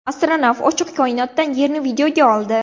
Astronavt ochiq koinotdan Yerni videoga oldi .